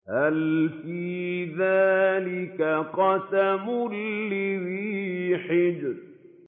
هَلْ فِي ذَٰلِكَ قَسَمٌ لِّذِي حِجْرٍ